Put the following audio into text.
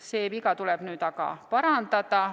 See viga tuleb parandada.